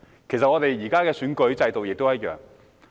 其實，我們現時的選舉制度亦一樣。